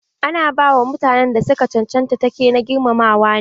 Ana ba wa mutanen da su ka cancanta take na girmamawa ne.